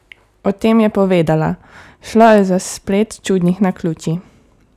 O tem je povedala: "Šlo je za splet čudnih naključij.